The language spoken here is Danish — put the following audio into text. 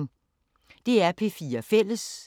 DR P4 Fælles